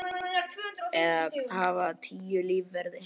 Eða hafa tíu lífverði?